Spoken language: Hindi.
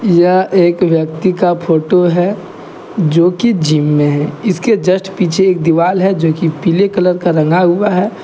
यह एक व्यक्ति का फोटो है जोकि जिम में है इसके जस्ट पीछे एक दीवाल है जोकि पीले कलर का रंग हुआ है।